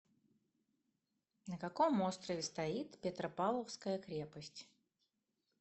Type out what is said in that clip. на каком острове стоит петропавловская крепость